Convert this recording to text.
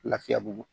Lafiyabugu